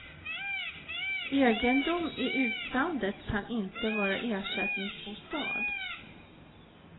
Egendom i utlandet kan inte vara ersättningsbostad.